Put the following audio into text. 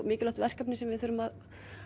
mikilvægt verkefni sem við þurfum að